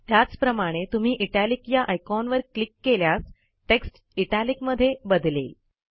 त्याचप्रमाणे तुम्ही इटालिक या आयकॉनवर क्लिक केल्यास टेक्स्ट आयटॅलिक मध्ये बदलेल